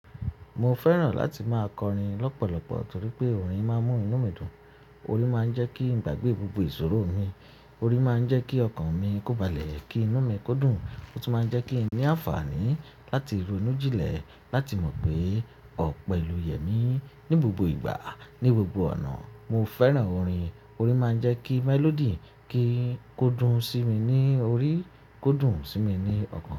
Mo fẹ́ràn láti máa kọrin lọ́pọ̀lọpọ̀ torí pé orin máa ń mú inú mi dùn, orin máa ń jẹ́ kí n gbàgbé gbogbo ìṣòro mi, orin máa ń jẹ́ kí ọkàn mi kóbalẹ̀, kí inú mi kó dùn, ó tún máa ń jẹ́ kí n ní àǹfààní láti ronú jìnlẹ̀, láti mọ̀ pé ọ̀pọ̀ ìlú yẹ mí ní gbogbo ìgbà, ní gbogbo ọ̀nà. Mo fẹ́ràn orin, orin máa ń jẹ́ kí melody kí i kó dùn sí mi ní orí, kó dùn sí mi ní ọkàn.